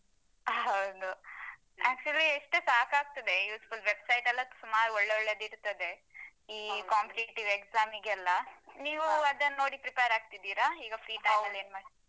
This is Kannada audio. ಹೌದು actually ಎಷ್ಟು ಸಾಕಾಗ್ತದೆ useful website ಎಲ್ಲ ಸುಮಾರ್ ಒಳ್ಳೆ ಒಳ್ಳೆದಿರ್ತದೆ ಈ competitive exam ಗೆಲ್ಲಾ. ನೀವ್ ಅದನ್ ನೋಡಿ prepare ರಾಗ್ತಿದ್ದೀರ ಈಗ ಫ್ರೀ ಟೈಮಲ್ಲಿ ಏನ್ ಮಾಡ್ತಿದ್.